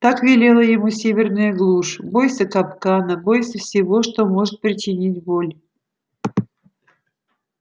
так велела ему северная глушь бойся капкана бойся всего что может причинить боль